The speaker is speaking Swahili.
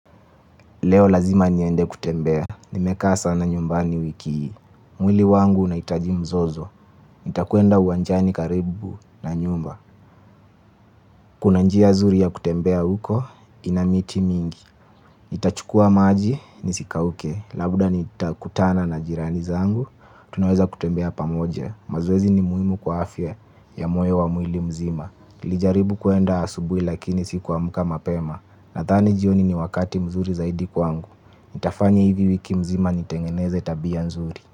Leo lazima niende kutembea, nimekaa sana nyumbani wiki hii. Mwili wangu unahitaji mzozo, nitakwenda uwanjani karibu na nyumba. Kuna njia nzuri ya kutembea huko, ina miti mingi. Nitachukua maji, nisikauke, labda nitakutana na jirani zangu, tunaweza kutembea pamoja. Mazoezi ni muhimu kwa afya ya moyo wa mwili mzima nilijaribu kwenda asubuhi lakini sikuamka mapema. Nadhani jioni ni wakati mzuri zaidi kwangu nitafanya hivi wiki nzima nitengeneze tabia nzuri.